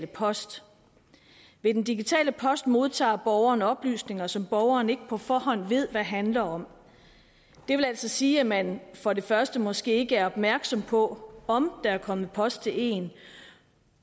post ved den digitale post modtager borgeren oplysninger som borgeren ikke på forhånd ved hvad handler om det vil altså sige at man for det første måske ikke er opmærksom på om der er kommet post til en